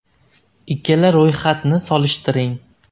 Ikkala ro‘yxatni solishtiring.